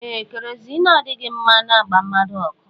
Ee kerozini adịghị mma na-agba mmadụ ọkụ